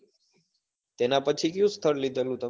તેના પછી કિયું સ્થળ લીધેલું તમે?